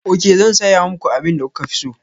Ok, zan saya muku abin da kuka fi so.